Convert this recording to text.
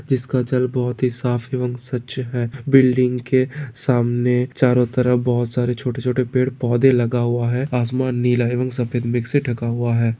जिसका जल बहुत ही साफ और स्वच्छ है बिल्डिंग के सामने चारों तरफ बहुत सारे छोटे-छोटे पेड़ पौधे लगा हुआ है आसमान नीला है और सफेद ढका हुआ है।